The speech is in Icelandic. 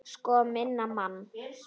Sko minn mann!